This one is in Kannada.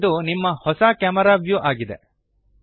ಈಗ ಇದು ನಿಮ್ಮ ಹೊಸ ಕ್ಯಾಮೆರಾ ವ್ಯೂ ಆಗಿದೆ